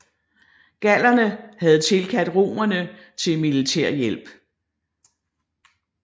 Gallerne havde tilkaldt romerne til militær hjælp